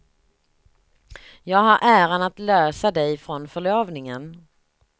Jag har äran att lösa dig från förlovningen.